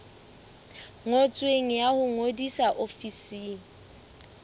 ngotsweng ya ho ngodisa ofising